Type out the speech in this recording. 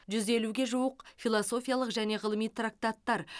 жүз елуге жуық философиялық және ғылыми трактаттар